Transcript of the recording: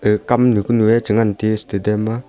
gag kam nu ku nu ye chi ngan tiyu stadium ma.